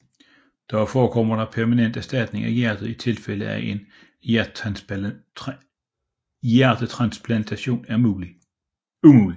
Dog forekommer permanent erstatning af hjertet i tilfælde af at en hjertetransplantation er umulig